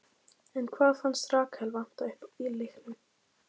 En hvað fannst Rakel vanta uppá í leiknum?